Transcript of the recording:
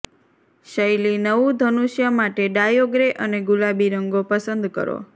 શૈલી નવું ધનુષ્ય માટે ડાયો ગ્રે અને ગુલાબી રંગો પસંદ કરો